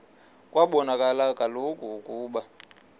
kwabonakala kaloku ukuba